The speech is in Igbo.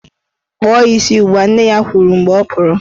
Kpụọ ya isi ugbua! Nne ya kwuru mgbe ọ pụrụ.